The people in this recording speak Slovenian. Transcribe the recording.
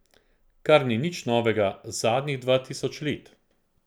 Kar ni nič novega zadnjih dva tisoč let.